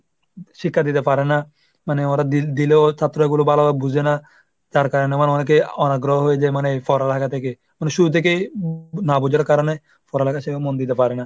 শিক্ষা দিতে পারেনা মানে ওরা দি~ দিলেও ছাত্র গুলো ভালো বুঝে না। তার কারণে মানে অনেকে অনাগ্রহ হয়ে যায় মানে পড়ালেখা থেকে। মানে শুরু থেকেই না বুঝার কারণে পড়ালেখায় সেরম মন দিতে পারে না।